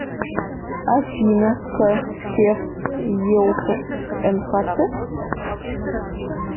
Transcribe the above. афина х февс еуфш нхц